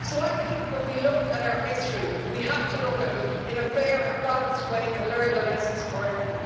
So I think when we look at our history, we have to look at it in a fair and balanced way and learn the lessons correctly.